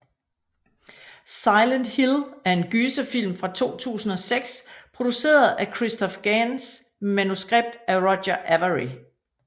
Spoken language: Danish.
Silent Hill er en gyserfilm fra 2006 produceret af Christophe Gans med manuskript af Roger Avary